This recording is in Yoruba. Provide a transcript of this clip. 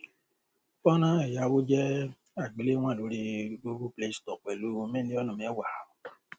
fọnrán ẹyáwó jẹ àgbéléwòn lórí google play store pẹlú mílíọnù mẹwàá